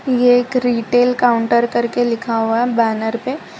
ये एक retail counter करके लिखा हुआ है बैनर पे।